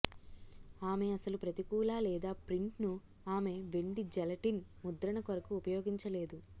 ఆమె అసలు ప్రతికూల లేదా ప్రింట్ను ఆమె వెండి జెలటిన్ ముద్రణ కొరకు ఉపయోగించలేదు